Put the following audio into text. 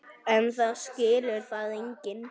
En það skilur það enginn.